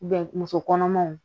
muso kɔnɔmanw